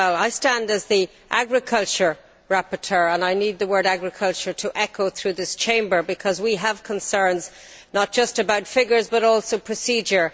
I speak as the agriculture rapporteur, and I need the word agriculture to echo through this Chamber because we have concerns, not just about figures but also procedure.